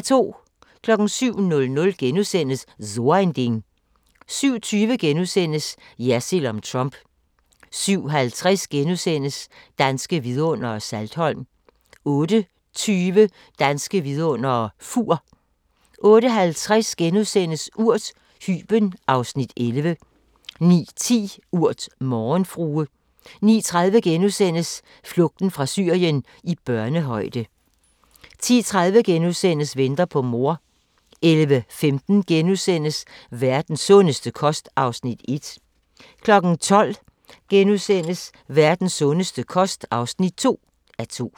07:00: So ein Ding * 07:20: Jersild om Trump * 07:50: Danske Vidundere: Saltholm * 08:20: Danske Vidundere: Fur 08:50: Urt: Hyben (Afs. 11)* 09:10: Urt: Morgenfrue 09:30: Flugten fra Syrien – i børnehøjde * 10:30: Venter på mor * 11:15: Verdens sundeste kost (1:2)* 12:00: Verdens sundeste kost (2:2)*